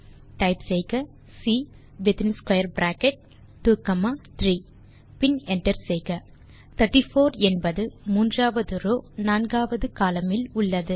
type செய்க C வித்தின் square bracket 2 comma 3 பின் என்டர் செய்க 34 என்பது மூன்றாவது ரோவ் நான்காவது கோலம்ன் இல் உள்ளது